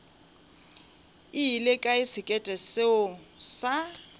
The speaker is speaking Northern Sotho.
ile kae sekete seo sa